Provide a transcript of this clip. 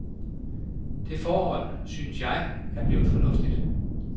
Det forhold, synes jeg, er blevet fornuftigt.